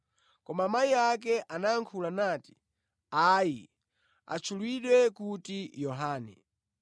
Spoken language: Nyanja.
koma amayi ake anayankhula nati, “Ayi, atchulidwe kuti Yohane.”